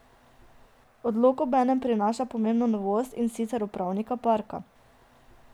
Odlok obenem prinaša pomembno novost, in sicer upravnika parka.